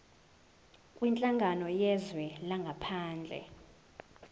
kwinhlangano yezwe langaphandle